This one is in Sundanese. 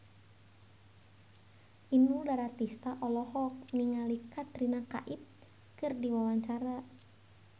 Inul Daratista olohok ningali Katrina Kaif keur diwawancara